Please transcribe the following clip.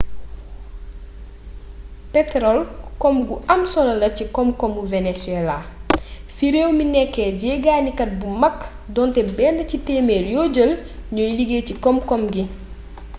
petorol koom gu am solo la ci koom koomu venezuela fi réew mi nekké jéggani kat bu mag donté benn ci témér yo jël ñooy liggéy ci koom koom ngi